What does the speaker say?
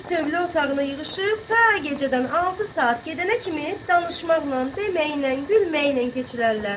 Bir tövlə otağına yığışıb ta gecədən altı saat gedənə kimi danışmaqla, deməklə, gülməklə keçirərlər.